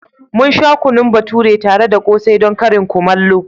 Mun sha kunun bature tare da ƙsai don karin kumallo.